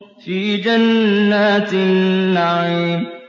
فِي جَنَّاتِ النَّعِيمِ